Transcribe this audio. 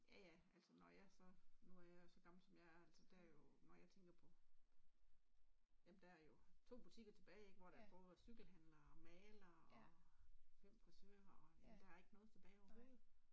Ja ja, altså når jeg så nu er jeg jo så gammel som jeg altså der jo når jeg tænker på jamen der er jo to butikker tilbage ik hvor der både var cykelhandler, maler, og fem frisører, og jamen der er ikke noget tilbage overhovedet